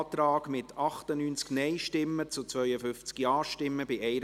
Abstimmung (Art. 35 Abs. 2;